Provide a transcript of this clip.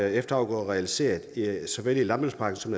efterafgrøder realiseret såvel i landbrugspakken som